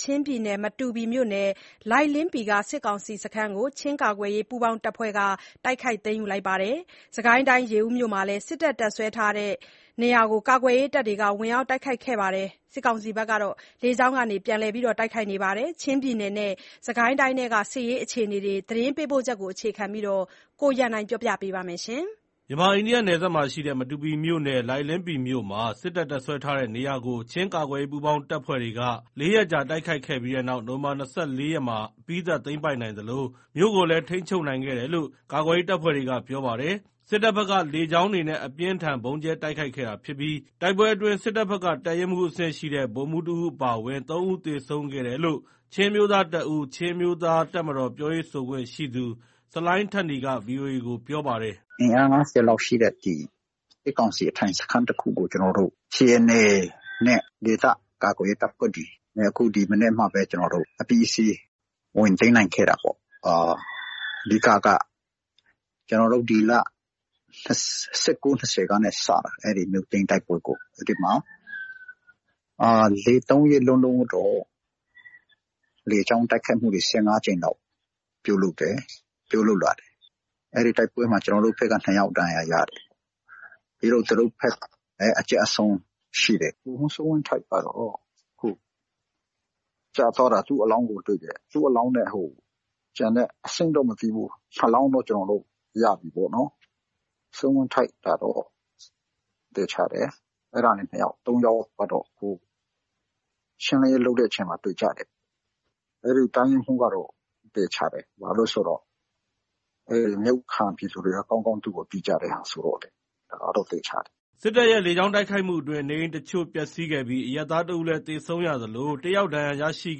ချင်းပြည်နယ်၊ မတူပီမြို့နယ်၊ လိုင်လင်းပီမြို့ က စစ်ကောင်စခန်းကို ချင်းကာကွယ်ရေး ပူးပေါင်းတပ်ဖွဲ့တွေက တိုက်ခိုက်သိမ်းယူခဲ့ပါတယ်။ စစ်ကိုင်းတိုင်း၊ ရေဦးမြို့မှာလည်း စစ်တပ် တပ်စွဲထားတဲ့နေရာကို ကာကွယ်ရေးတပ်ဖွဲ့တွေက ဝင်ရောက်တိုက်ခိုက်ခဲ့ပြီး စစ်ကောင်စီ ဘက်က လေကြောင်းကနေ ပြန်လည်တိုက်ခိုက် ခဲ့ပါတယ်။ ချင်းပြည်နယ်နဲ့ စစ်ကိုင်းတိုင်းထဲက အခြေအနေတွေအကြောင်း သတင်းပေးပို့ချက်ကို အခြေခံပြီး ကိုရန်နိုင်က ပြောပြပါမယ်။ မြန်မာ-အိန္ဒိယ နယ်စပ်မှာရှိတဲ့ မတူပီမြို့နယ် လိုင်လင်းပီမြို့မှာ စစ်တပ် တပ်စွဲထားတဲ့ နေရာကို ချင်းကာကွယ်ရေး ပူးပေါင်းတပ်ဖွဲ့တွေက ၄ ရက်ကြာ တိုက်ခိုက်ခဲ့ပြီးတဲ့နောက် နိုဝင်ဘာ ၂၄ ရက်မှာ အပြီးသတ် သိမ်းပိုက်နိုင်သလို မြို့ကိုလည်း ထိန်းချုပ်နိုင်ခဲ့တယ်လို့ ကာကွယ်ရေး တပ်ဖွဲ့တွေက ပြောပါတယ်။ စစ်တပ်ဘက်က လေကြောင်းတွေနဲ့ အပြင်းအထန် ဗုံးကြဲတိုက်ခိုက်ခဲ့တာ ဖြစ်ပြီး တိုက်ပွဲ အတွင်း စစ်တပ်ဘက်က တပ်ရင်းမှူး အဆင့်ရှိတဲ့ ဗိုလ်မှူးတဦး အပါအဝင် ၃ ဦး သေဆုံးခဲ့တယ်လို့ ချင်းအမျိုးသားတပ်ဦး-ချင်းအမျိုးသား တပ်မတော် ပြောရေးဆိုခွင့်ရှိသူ ဆလိုင်းထက်နီက ဗွီအိုအေကို အခုလို ပြောပါတယ်။ “အင်အား ၅၀ လောက်ရှိတဲ့ စစ်ကောင်စီ အထိုင်စခန်းတခုကို စီအန်အေနဲ့ ဒေသကာကွယ်ရေး တပ်တွေ ကျွန်တော်တို့ ဒီမနက်မှာပဲ အပြီးအစီး ဝင်သိမ်းနိုင်ခဲ့တာပေါ့။ အဓိကက ကျွန်တော်တို့ ဒီလ ၁၉ -၂၀ ကနေ စပြီး အဲ့ဒီ့မြို့သိမ်းတိုက်ပွဲကို အဲ့ဒီ့မှာ ၃ ရက်လုံးလုံး လေကြောင်းတိုက်ခိုက်မှုတွေ ၁၅ ကြိမ်လောက်ပြုလုပ်တယ်။ အဲ့ဒီ့တိုက်ပွဲမှာ ကျွန်တော်တို့ဘက်က ၂ ယောက်ဒဏ်ရာရတယ်။ ပြီးတော့ သူတို့ဘက်ကလည်း အကျအရှုံးရှိတယ်။ ဗိုလ်မှူးစိုးဝင်းထိုက်ကတော့ ကျသွားတာ သူ့အလောင်းကို တွေ့ပြီ။ သူ့အလောင်းနဲ့ ကျန်တဲ့၊ အဆင့်တော့မသိဘူး၊ ၂ လောင်းတော့ ကျွန်တော်တို့ ရပြီပေါ့နော်။ စိုးဝင်းထိုက်ကတော့ သေချာတယ်။ အဲ့ဒါနဲ့ ၂ ယောက်။ ရှင်းလင်းတဲ့အချိန်မှာ သေကြတယ်။ တပ်ရင်းမှူးကတော့ သေချာတယ်။ ဘာလို့ဆိုတော့ မြို့ခံပြည်သူတွေက သူ့ကိုကောင်းကောင်း သိကြတော့ သေချာတယ်။” စစ်တပ်ရဲ့ လေကြောင်း တိုက်ခိုက်မှုအတွင်း နေအိမ်အချို့ပျက်စီးခဲ့ပြီး အရပ်သား ၁ ဦးလည်း သေဆုံးရသလို ၁ ယောက် ဒဏ်ရာရရှိ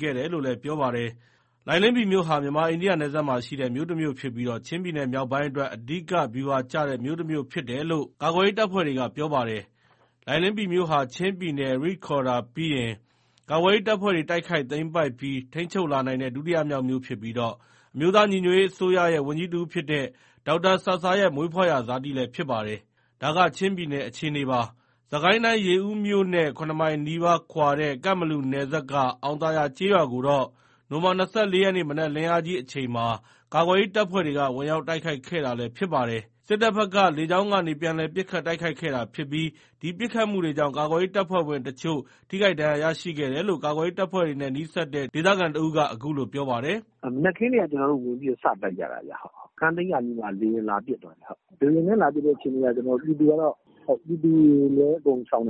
ခဲ့ တယ်လို့လည်း ပြောပါတယ်။ လိုင်လင်းပီမြို့ဟာ မြန်မာ-အိန္ဒိယ နယ်စပ်မှာ ရှိတဲ့ မြို့တမြို့ဖြစ်ပြီး ချင်းပြည်နယ် မြောက်ပိုင်းအတွက် အဓိက ဗျူဟာကျတဲ့ မြို့တမြို့ဖြစ်တယ်လို့ ကာကွယ်ရေး တပ်ဖွဲ့တွေက ပြောပါတယ်။ လိုင်လင်းပီမြို့ဟာ ချင်းပြည်နယ်မှာ ရိခေါ်ဒါရ်ပြီးရင် ကာကွယ်ရေး တပ်ဖွဲ့တွေ တိုက်ခိုက်သိမ်းပိုက်ပြီး ထိန်းချုပ်လာနိုင်တဲ့ ဒုတိယမြောက်မြို့ဖြစ်ပြီး အမျိုးသားညီညွတ်ရေး အစိုးရရဲ့ ဝန်ကြီးတဦးဖြစ်တဲ့ ဒေါက်တာဆာဆာရဲ့ မွေးဖွားရာ ဇာတိလည်းဖြစ်ပါတယ်။ ဒါက ချင်းပြည်နယ်က အခြေအနေပါ။ စစ်ကိုင်းတိုင်း ရေဦးမြို့နဲ့ ၇ မိုင်နီးပါး ကွာဝေးတဲ့ ကန့်ဘလူနယ်စပ်က အောင်သာယာ ကျေးရွာကိုတော့ နိုဝင်ဘာ ၂၄ ရက် မနက်လင်းအားကြီး အချိန်မှာ ကာကွယ်ရေး တပ်ဖွဲ့တွေက ဝင်ရောက်တိုက်ခိုက်ခဲ့ တာလည်း ဖြစ်ပါတယ်။ စစ်တပ်ဘက်က လေကြောင်းကနေ ပြန်လည် ပစ်ခတ်တိုက်ခိုက်ခဲ့တာ ဖြစ်ပြီး ဒီပစ်ခတ်မှုတွေကြောင့် ကာကွယ်ရေး တပ်ဖွဲ့ဝင် အချို့ ထိခိုက်ဒဏ်ရာ ရရှိခဲ့တယ်လို့ ကာကွယ်ရေးတပ်ဖွဲ့တွေနဲ့ နီးစပ်တဲ့ ဒေသခံတဦးက အခုလို ပြောပါတယ်။ “မနက်ခင်းကတည်းက ဝင်ပြီး စတိုက်ကြတာခင်ဗျ။ စခန်းသိမ်းကာနီးမှာ လေယာဉ်လာပစ်သွားတယ်။ လေယာဉ်နဲ့လာပစ်ချိန်မှာ ပြည်သူတွေလည်း အကုန်ရှောင်န